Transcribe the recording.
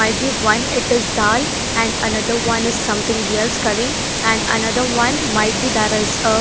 Might be one it is dal and another one is something else curry and another one might be that is a --